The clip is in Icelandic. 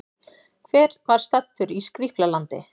Hver var staddur í Skrýpla-landi?